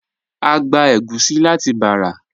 A gbà ègúsì láti Bàrà.